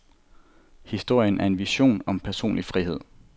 Historien er en vision om personlig frihed.